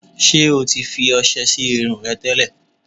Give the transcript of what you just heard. Ṣé o ti fi ọṣẹ sí irun rẹ tẹ́lẹ̀?